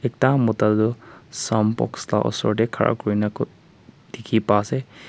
Ekta mota du soundbox la osor tey khara kurina dikhi pa ase.